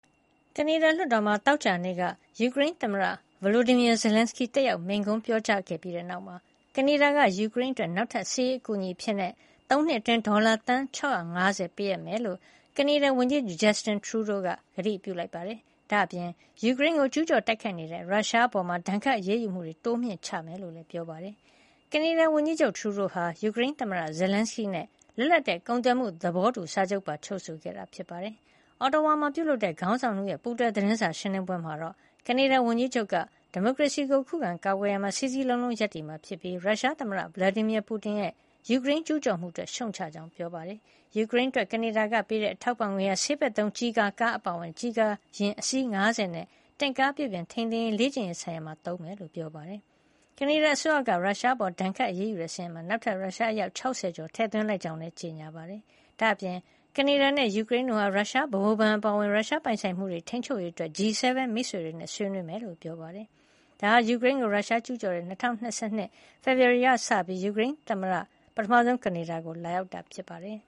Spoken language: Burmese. ကနေဒါလွှတ်တော်မှာ သောကြာနေ့က ယူကရိန်းသမ္မတ Volodymyr Zelenskyy တက်ရောက် မိန့်ခွန်းပြောကြားခဲ့ပြီးတဲ့ နောက်မှာ ကနေဒါက ယူကရိန်းအတွက် နောက်ထပ် စစ်ရေးအကူအညီအဖြစ် ၃ နှစ် အတွင်း ဒေါ်လာ သန်း ၆၅၀ ပေးအပ်မှာ ဖြစ်ကြောင်း ကနေဒါဝန်ကြီးချုပ် Justin Trudeau က ကတိပြုခဲ့ပါတယ်။ ဒါ့အပြင် ယူကရိန်းကို ကျူးကျော်တိုက်ခိုက်နေတဲ့ ရုရှားအပေါ် ဒဏ်ခတ်အရေးယူမှုတွေ တိုးမြှင့်ချထားမှာ ဖြစ်ကြောင်း ပြောပါတယ်။ ကနေဒါဝန်ကြီးချုပ် Trudeau ဟာ ယူကရိန်းသမ္မတ Zelenskyy နဲ့ လွတ်လပ်တဲ့ကုန်သွယ်မှု သဘောတူစာချုပ်ကို ချုပ်ဆိုခဲ့ပါတယ်။ Otawa မှာ ပြုလုပ်တဲ့ ခေါင်းဆောင် ၂ ဦးရဲ့ ပူးတွဲ သတင်းစာရှင်းလင်းပွဲမှာတော့ ကနေဒါဝန်ကြီးချုပ်က ဒီမိုကရေစီကို ခုခံကာကွယ်ရာမှာ စည်းစည်းလုံးလုံး ရပ်တည်မှာ ဖြစ်ပြီး ရုရှားသမ္မတ Vladimir Putin ရဲ့ ယူကရိန်းကို ကျူးကျော်မှု အတွက် ရှုတ်ချကြောင်းလည်း ပြောပါတယ်။ ယူကရိန်းအတွက် ကနေဒါက ပေးတဲ့ အထောက်အပံ့ငွေဟာ ဆေးဘက်သုံး ကျည်ကာ ကားတွေ အပါအဝင် ကျည်ကာ ယဉ် အစီး ၅၀ နဲ့ တင့်ကားပြုပြင်ထိန်းသိမ်းရေး၊ လေ့ကျင့်ရေး ဆိုင်ရာတွေအတွက် သုံးမှာ ဖြစ်ကြောင်း ပြောပါတယ်။ ကနေဒါအစိုးရက ရုရှားအပေါ် ဒဏ်ခတ်အရေးယူတဲ့ စာရင်းမှာ နောက်ထပ် ရုရှား အယောက် ၆၀ ကျော် ကို ထည့်သွင်းလိုက်ကြောင်းလည်း ကြေညာ ပါတယ်။ ဒါ့အပြင် ကနေဒါနဲ့ ယူကရိန်းတို့ဟာ ရုရှားရဲ့ ဗဟိုဘဏ် ပါအဝင် ရုရှားရဲ့ ပိုင်ဆိုင်မှုတွေ ထိန်းချုပ်ရေး အတွက် G 7 မိတ်ဆွေတွေနဲ့ ဆွေးနွေးဖို့ လုပ်မှာ ဖြစ်ကြောင်းလည်း ပြောပါတယ်။ ဒါဟာ ယူကရိန်းကို ရုရှားကျူးကျော်တဲ့ ၂၀၂၂ ဖေဖေါ်ဝါရီကစပြီး ယူကရိန်းသမ္မတ Zelenskyy ပထမဆုံး ကနေဒါကို လာရောက်တာ ဖြစ်ပါတယ်။